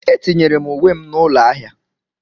Etinyere m uwe m n'ụlọ ahịa.